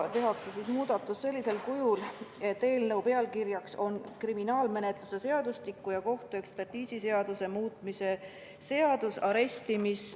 Tehakse selline muudatus, et eelnõu pealkiri oleks "Kriminaalmenetluse seadustiku ja kohtuekspertiisiseaduse muutmise seadus ".